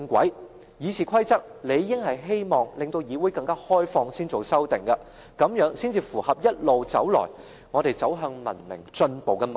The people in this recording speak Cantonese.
修訂《議事規則》理應是希望議會更為開放，這樣才符合一路以來我們走向文明進步的脈絡。